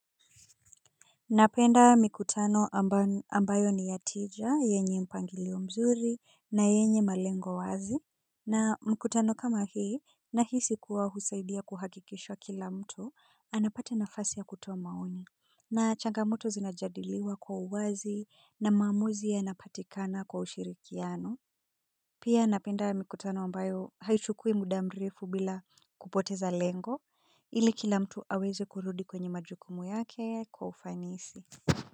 Napenda mikutano ambayo ni ya tija, yenye mpangilio mzuri, na yenye malengo wazi. Na mkutano kama hii, na hisi kuwa husaidia kuhakikishwa kila mtu, anapata nafasi ya kutoa maoni. Na changamoto zinajadiliwa kwa uwazi, na maamuzi yana patikana kwa ushirikiano. Pia napenda mikutano ambayo haichukui muda mrefu bila kupoteza lengo, ili kila mtu aweze kurudi kwenye majukumu yake kwa ufanisi.